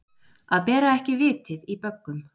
Að bera ekki vitið í böggum